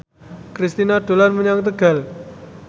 Kristina dolan menyang Tegal